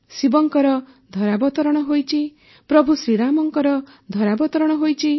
ଶିବଙ୍କର ଧରାବତରଣ ହୋଇଛି ପ୍ରଭୁ ଶ୍ରୀରାମଙ୍କର ଧରାବତରଣ ହୋଇଛି